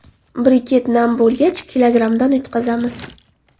Briket nam bo‘lgach, kilogrammdan yutqazamiz.